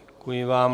Děkuji vám.